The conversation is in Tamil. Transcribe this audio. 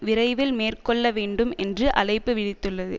விரைவில் மேற்கொள்ள வேண்டும் என்று அழைப்பு விடுத்துள்ளது